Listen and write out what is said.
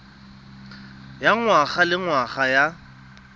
ya ngwaga le ngwaga ya